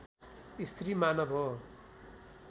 स्त्री मानव हो